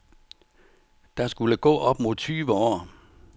Der skulle gå op mod tyve år.